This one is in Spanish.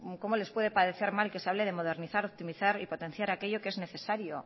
cómo les puede parecer mal que se hable de modernizar optimizar y potenciar aquello que es necesario